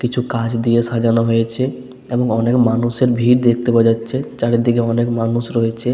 কিছু কাঁচ দিয়ে সাজানো হয়েছেএবং অনেক মানুষ এর ভিড় দেখতে পাওয়া যাচ্ছে চারিদিকে অনেক মানুষ রয়েছে।